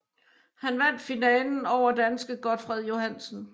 Han vandt finalen over danske Gotfred Johansen